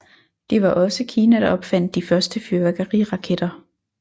Det var også Kina der opfandt de første fyrværkeriraketter